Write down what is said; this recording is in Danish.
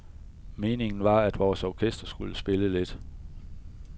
Meningen var, at vores orkester skulle spille lidt.